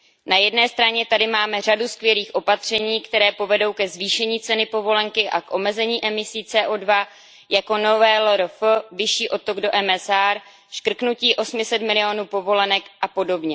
Na jedné straně tady máme řadu skvělých opatření, které povedou ke zvýšení ceny povolenky a k omezení emisí CO2, jako nové LRF, vyšší odtok do MSR, škrtnutí 800 milionů povolenek apod.